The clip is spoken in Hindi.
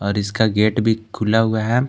और इसका गेट भी खुला हुआ है।